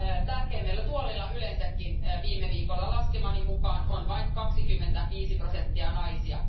Tärkeimmillä tuoleilla yleensäkin viime viikolla laskemani mukaan on vain 25 prosenttia naisia.